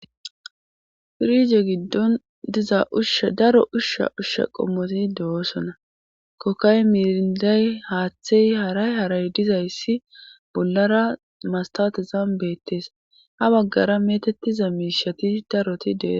pirije giddon diza ushsha daro ushsha ushsha qommoti de7oosona kokkay miiriday haaththey haray haray dizayssi bollara mastatizam bettees ha baggara metettiza miishati daroti de'osona